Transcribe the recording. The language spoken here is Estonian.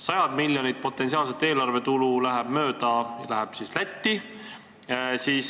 Sajad miljonid potentsiaalset eelarvetulu läheb meist mööda, läheb Lätti.